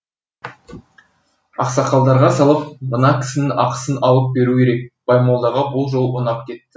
ақсақалдарға салып мына кісінің ақысын алып беру керек баймолдаға бұл жол ұнап кетті